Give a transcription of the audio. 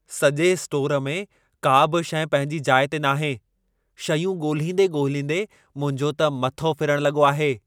सॼे स्टोर में का बि शइ पंहिंजी जाइ ते नाहे, शयूं ॻोल्हींदे ॻोल्हींदे मुंहिंजो त मथो फिरणु लॻो आहे।